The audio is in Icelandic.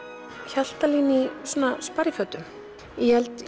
Hjaltalín í sparifötum ég held